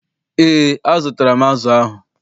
EÉ, azụtara m azụ ahụ.